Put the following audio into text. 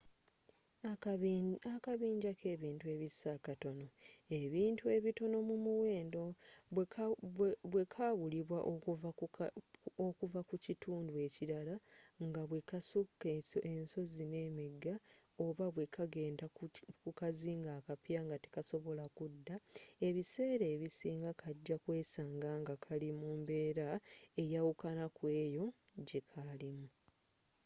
akabinja kebintu ebissa akatonoebintu ebitono mu muwendo bwekaawulibwa okuva ku kituundu ekirala nga bwesuka ensozi nemigga oba bwekagenda ku kazinga akapya nga tekasobola kuddaebiseera ebisinga kaja kwesaanga nga kali mumbeera eyawukana kweeyo gyekaalimu